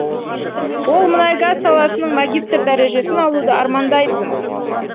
ол мұнай газ саласының магистр дәрежесін алуды армандайтын